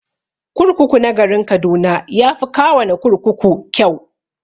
Kurkuku na garin kaduna yafi kawana kurkuku kyau.